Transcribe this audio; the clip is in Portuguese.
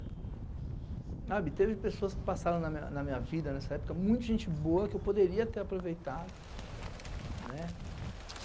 Sabe, teve pessoas que passaram na minha na minha vida nessa época, muita gente boa que eu poderia ter aproveitado, né?